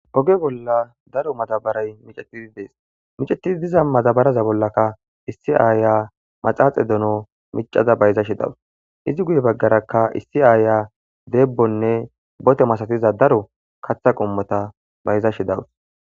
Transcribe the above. Oge bolla daro matabaray micetidi dees micetidi diza matabaraza bollaka issi aaya maxaaxe dono micaza bayza shi dawus izi guye baggarakka issi aaya deebbonne bote masatiza daro katha qommota bayza shi dawus.